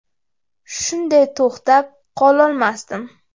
Shunday to‘xtab qololmasdim.